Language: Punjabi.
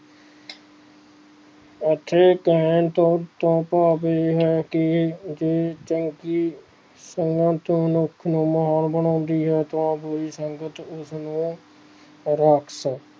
ਅਸੀਂ ਕਹਿਣ ਤੋਂ ਕਿਉ ਸੁਭਾਵਿਕ ਹੈ ਕਿ ਚੰਗੀ ਸੰਗਤ ਮਨੁੱਖ ਨੂੰ ਇਨਸਾਨ ਬਣਾਂਦੀ ਹੈ ਤਾਂ ਬੁਰੀ ਸੰਗਤ ਉਸ ਨੂੰ ਰਾਕਸ਼ਸ਼